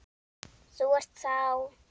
Þú ert þá.?